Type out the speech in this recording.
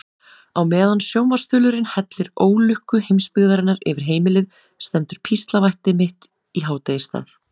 Á meðan sjónvarpsþulurinn hellir ólukku heimsbyggðarinnar yfir heimilið stendur píslarvætti mitt í hádegisstað.